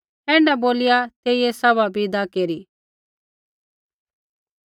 ऐण्ढा बोलिया तेइयै सभा विदा केरी